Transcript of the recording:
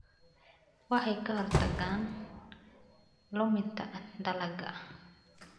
Waxay ka hortagaan luminta dalagga.